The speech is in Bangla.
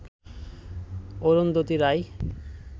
অরুন্ধতী রায়